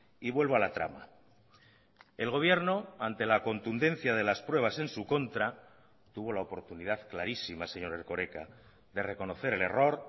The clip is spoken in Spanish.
y vuelvo a la trama el gobierno ante la contundencia de las pruebas en su contra tuvo la oportunidad clarísima señor erkoreka de reconocer el error